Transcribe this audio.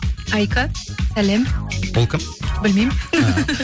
айка салем ол кім білмеймін